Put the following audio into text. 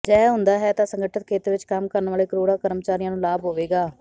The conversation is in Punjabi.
ਅਜਿਹਾ ਹੁੰਦਾ ਹੈ ਤਾਂ ਸੰਗਠਤ ਖੇਤਰ ਵਿਚ ਕੰਮ ਕਰਨ ਵਾਲੇ ਕਰੋੜਾਂ ਕਰਮਚਾਰੀਆਂ ਨੂੰ ਲਾਭ ਹੋਵੇਗਾ